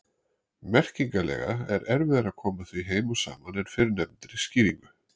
Merkingarlega er erfiðara að koma því heim og saman en fyrrnefndri skýringu.